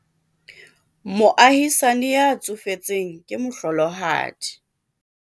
moahisani ya tsofetseng ke mohlolohadi